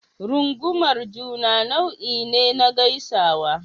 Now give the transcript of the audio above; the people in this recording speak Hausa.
Rungumar juna nau'i ne na gaisuwa.